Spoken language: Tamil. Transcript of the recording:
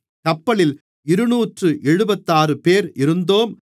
கப்பலில் இருநூற்று எழுபத்தாறுபேர் இருந்தோம்